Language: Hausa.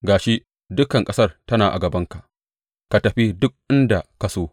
Ga shi, dukan ƙasar tana a gabanka; ka tafi duk inda ka so.